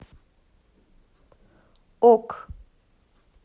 ок